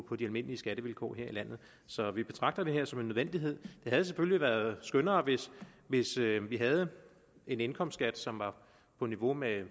på de almindelige skattevilkår her i landet så vi betragter det her som en nødvendighed det havde selvfølgelig været skønnere hvis vi vi havde en indkomstskat som var på niveau med